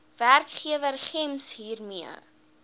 werkgewer gems hiermee